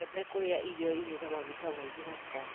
Wĩtheme kũrĩa irio irĩ na maguta maingĩ na cukari.